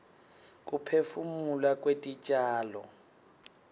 kuphefumula kwetitjalo